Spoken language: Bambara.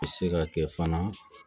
Bɛ se ka kɛ fana